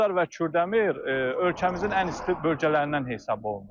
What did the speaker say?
Ucar və Kürdəmir ölkəmizin ən isti bölgələrindən hesab olunur.